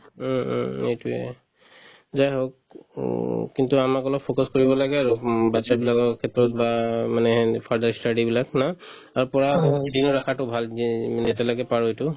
উম, উম এইটোয়ে জাই হওক উম কিন্তু আমাক অলপ focus কৰিব লাগে আৰু উম batches বিলাকৰ ক্ষেত্ৰত বা মানে সিহঁতৰ further study বিলাক ন ৰাখাতো ভাল যে যেনে তেনেকে পাৰো এইটো